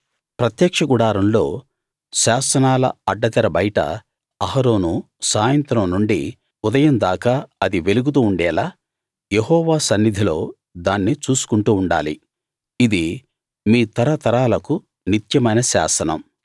ప్రత్యక్ష గుడారంలో శాసనాల అడ్డతెర బయట అహరోను సాయంత్రం నుండి ఉదయం దాకా అది వెలుగుతూ ఉండేలా యెహోవా సన్నిధిలో దాన్ని చూసుకుంటూ ఉండాలి ఇది మీ తరతరాలకు నిత్యమైన శాసనం